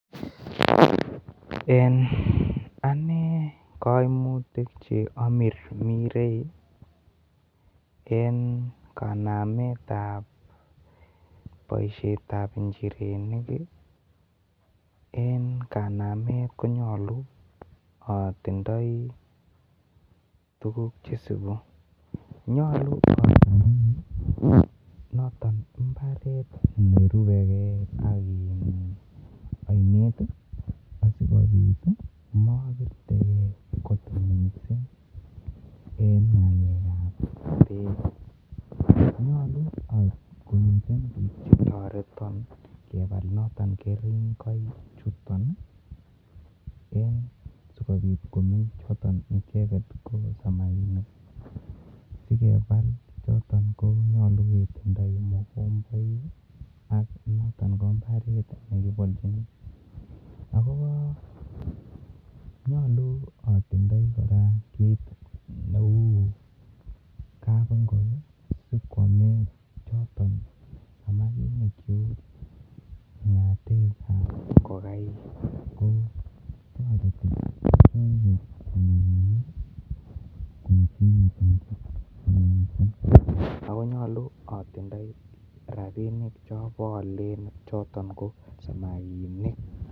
En Ane koimutik Cheamirmirei en kanamet tab boishet Tab njirenik en kanamet konyolu atindoi tuguk Che isibu,,nyolu atindoi noton imbaret nerube kei ak oinet asikobit mobirtegei kot mising akobo ngalek kab bek akonyolu tukuk chetoreton bik chekebole keringonik en asikobit keringiok chebo samakinik sigepal choton konyolu ketindoi mugomboik ak noton ko mbaret nekiboljini ako nyolu atindoi kora kit Neu kapingok sigonget choton samakinik chug ngatek kab ngokenik KO toreti samakinik koechekitun akonyolu atindoi rabinik Alen choton ko samakinik